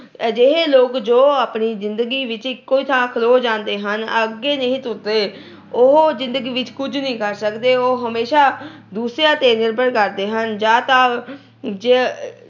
ਅਜਿਹੇ ਲੋਕ ਜੋ ਆਪਣੀ ਜਿੰਦਗੀ ਵਿੱਚ ਇਕੋ ਹੀ ਥਾਂ ਖਲੋ ਜਾਂਦੇ ਹਨ, ਅੱਗੇ ਨਹੀਂ ਤੁਰਦੇ। ਉਹ ਜਿੰਦਗੀ ਵਿੱਚ ਕੁਝ ਨਹੀਂ ਕਰ ਸਕਦੇ। ਉਹ ਹਮੇਸ਼ਾ ਦੂਸਰਿਆਂ ਤੇ ਨਿਰਭਰ ਕਰਦੇ ਹਨ। ਜਾਂ ਤਾਂ